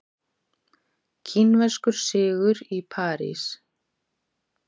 Kínverskur sigur í París